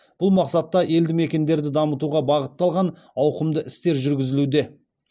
бұл мақсатта елді мекендерді дамытуға бағытталған ауқымды істер жүргізілуде